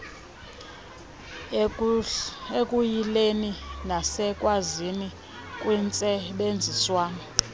ekuyileni nasekwaziseni kwintsebenziswano